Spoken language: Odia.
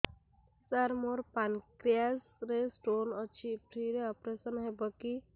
ସାର ମୋର ପାନକ୍ରିଆସ ରେ ସ୍ଟୋନ ଅଛି ଫ୍ରି ରେ ଅପେରସନ ହେବ କି